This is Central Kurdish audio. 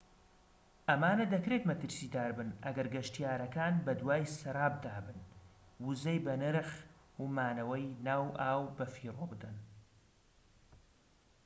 ئەمانە دەکرێت مەترسیدار بن ئەگەر گەشتیارەکان بەدوای سەرابدا بن وزەی بەنرخ و مانەوەی ناو ئاو بەفیڕۆ بدەن